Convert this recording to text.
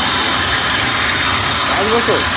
পাঁচ বছর?